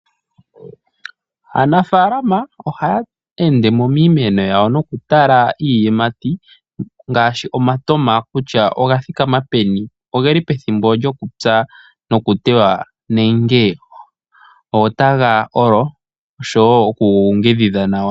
Aanafaalama ohaa ende mo miimeno yawo nokutala iiyimati ngaashi omatama kutya oga thikama peni, ogeli pethimbo lyokupya nokutewa nenge otaga olo, oshowo okuga ninga nawa.